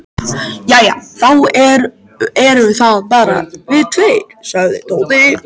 Jæja, þá eru það bara við tveir sagði Tóti.